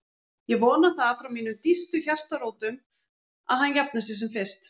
Ég vona það frá mínum dýpstu hjartarótum að hann jafni sig sem fyrst